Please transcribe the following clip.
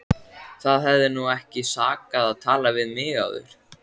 Það hefði nú ekki sakað að tala við mig áður!